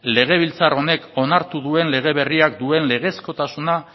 legebiltzar honek onartu duen lege berriak duen legezkotasuna